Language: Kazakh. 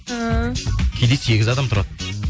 ііі кейде сегіз адам тұрады